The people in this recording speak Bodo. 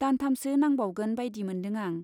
दानथामसो नांबावगोन बाइदि मोनदों आं।